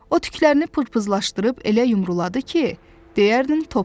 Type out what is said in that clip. O tüklərini pırpızlaşdırıb elə yumruladı ki, deyərdin topdur.